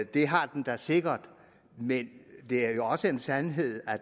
det har den da sikkert men det er også en sandhed